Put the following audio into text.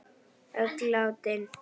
Öll látin.